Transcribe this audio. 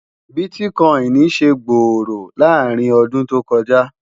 biticoini ṣé gbórò làrin ọdún tó kò jà